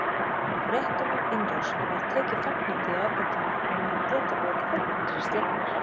Fréttum af innrásinni var tekið fagnandi í Argentínu á meðan Bretar voru felmtri slegnir.